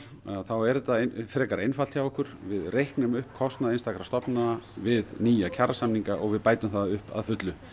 þá er þetta frekar einfalt hjá okkur við reiknum upp kostnað einstakra stofnana við nýja kjarasamninga og við bætum það upp að fullu